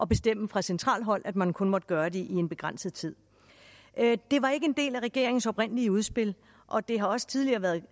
bestemmes fra centralt hold at man kun måtte gøre det i en begrænset tid det var ikke en del af regeringens oprindelige udspil og det har også tidligere været